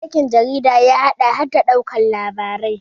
aikin jarida ya haɗa har da ɗaukar labarai